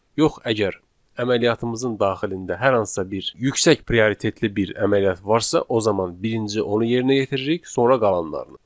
Yox əgər əməliyyatımızın daxilində hər hansısa bir yüksək prioritetli bir əməliyyat varsa, o zaman birinci onu yerinə yetiririk, sonra qalanlarını.